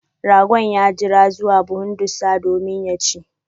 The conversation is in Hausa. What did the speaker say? Ragon ya jira zuwa buhun ɗussa domin ya chi.